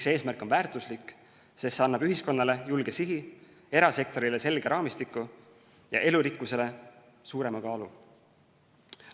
See eesmärk on väärtuslik, sest see annab ühiskonnale julge sihi, erasektorile selge raamistiku ja elurikkusele suurema kaalu.